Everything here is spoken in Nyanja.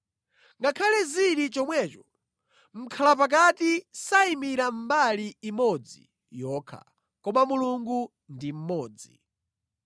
Ngakhale zili chomwecho, mʼkhalapakati sayimira mbali imodzi yokha, koma Mulungu ndi mmodzi.